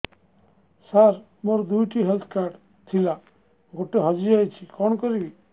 ସାର ମୋର ଦୁଇ ଟି ହେଲ୍ଥ କାର୍ଡ ଥିଲା ଗୋଟେ ହଜିଯାଇଛି କଣ କରିବି